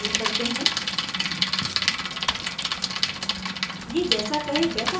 अब हम यह web browser में करते हैं